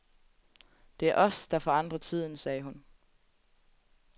Det er os, der forandrer tiden, sagde hun.